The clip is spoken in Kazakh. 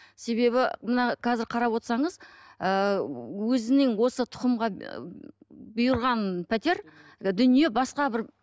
себебі мына қазір қарап отырсаңыз ыыы өзінің осы тұқымға ы бұйырған пәтер дүние басқа бір